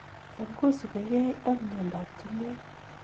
Cham kosupigee ak myondo ab tungu�ek